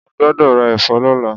Mo gbọ́dọ̀ ra ẹ̀fọ́ lọ́la.